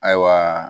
Ayiwa